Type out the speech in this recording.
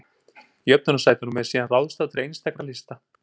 Jöfnunarsætunum er síðan ráðstafað til einstakra lista.